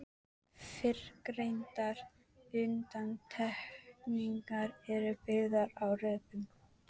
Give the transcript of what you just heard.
Fyrrgreindar undantekningar eru byggðar á rökum.